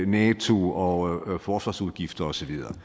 nato og forsvarsudgifter og så videre